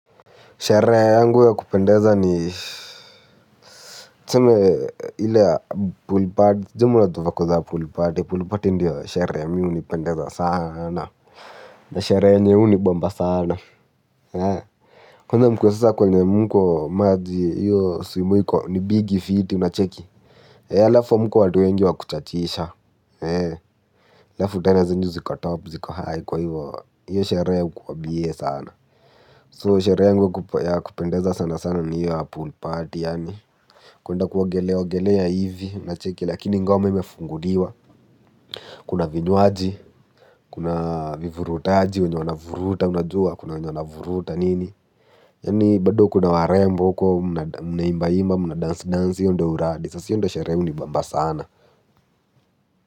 Sherehe yangu ya kupendeza ni tuseme ile poolparty, sijui ama unajua vako za poolparty, poolparty ndiyo sherehe mimi hunipendeza sana na sherehe yenye hunibamba sana. Kwanza mkiwa sasa kwenye mko maji hiyo swimo hiko ni big fiti unacheki. Halafu hamko watu wengi wa kuchachisha alafu tena zenyu ziko top ziko high kwa hivo, hiyo sherehe hukua bie sana So sherehe yangu ya kupendeza sana sana ni hiyo ya pool party yani kwenda kuogelea ogelea hivi unacheki lakini ngoma imefunguliwa. Kuna vinywaji, kuna vivurutaji, wenye wanavuruta unajua, kuna wenye wanavuruta nini yani bado kuna warembo huko mnaimba imba mna dance dance hiyo ndio uradi sasa hiyo ndio sherehe hunibamba sana.